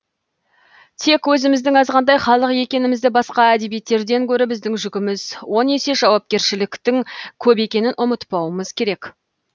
тек өзіміздің азғантай халық екенімізді басқа әдебиеттерден гөрі біздің жүгіміз он есе жауапкершіліктің көп екенін ұмытпауымыз керек